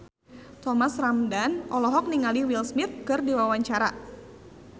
Thomas Ramdhan olohok ningali Will Smith keur diwawancara